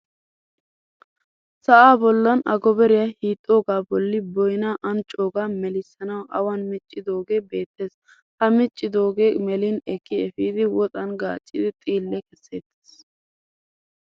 Sa'aa bollan agobariya hiixxoogaa bolli boyinaa anccoogaa melissanawu awan miccidoogee beettes. Ha miccidoogee melin ekki efidi woxan gaaccidi xiille kesseettes.